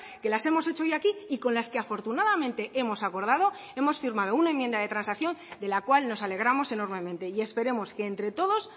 que las hemos hecho hoy aquí y con las que afortunadamente hemos acordado hemos firmado una enmienda de transacción de la cual nos alegramos enormemente y esperemos que entre todos